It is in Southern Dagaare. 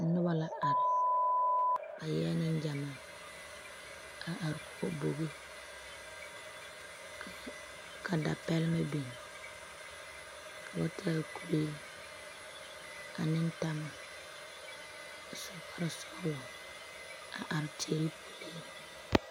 Noba la are, ba eɛ Nengyamaa, a are kɔge bogi ka dapɛlmɛ biŋ, ka ba taa kuree ane tama a su kpare sɔglɔ a are teɛ puliŋ.